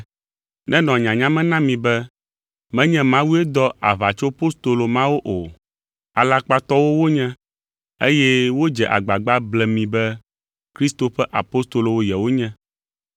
Nenɔ nyanya me na mi be menye Mawue dɔ aʋatsopostolo mawo o. Alakpatɔwo wonye, eye wodze agbagba ble mi be Kristo ƒe apostolowo yewonye.